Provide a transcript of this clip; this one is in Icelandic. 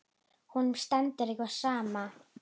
Honum stendur ekki á sama.